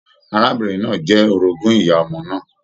Arábìnrin náà jẹ orogún ìyá ọmọ náà.